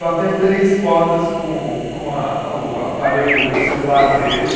Bateu três fotos com com a, o aparelho celular dele.